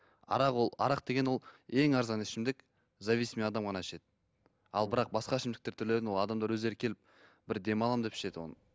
арақ ол арақ деген ол ең арзан ішімдік зависимый адам ғана ішеді ал бірақ басқа ішімдіктер түрлерін ол адамдар өздері келіп бір демаламын деп ішеді оны